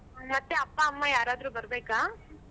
ಮತ್ತೆ ಅಪ್ಪ ಅಮ್ಮ ಯಾರಾದ್ರೂ ಬರ್ಬೇಕಾ?